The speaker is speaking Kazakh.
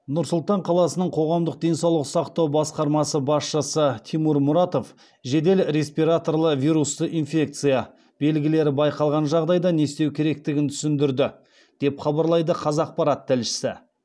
нұр сұлтан қаласының қоғамдық денсаулық сақтау басқармасы басшысы тимур мұратов жедел респираторлы вирусты инфекция белгілері байқалған жағдайда не істеу керектігін түсіндірді деп хабарлайды қазақпарат тілшісі